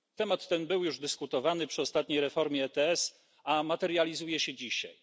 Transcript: Temat ten był już dyskutowany przy ostatniej reformie ETS, a materializuje się dzisiaj.